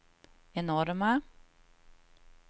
enorma